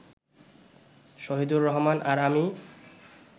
শহীদুর রহমান আর আমি